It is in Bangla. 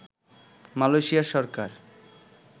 মালয়েশিয়ার সরকার